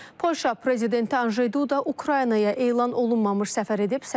Polşa prezidenti Anjey Duda Ukraynaya elan olunmamış səfər edib.